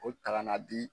O ta ka na di